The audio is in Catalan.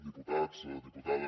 diputats diputades